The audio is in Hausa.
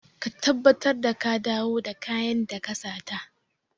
Ka tabbatar da ka dawo da kayan da ka sata!